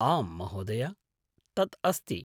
आम्, महोदय! तत् अस्ति।